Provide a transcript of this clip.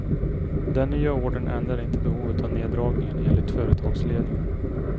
Den nya ordern ändrar inte behovet av neddragningen, enligt företagsledningen.